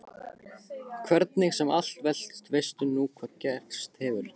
Hvernig sem allt veltist veistu nú hvað gerst hefur.